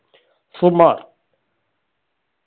സുമാർ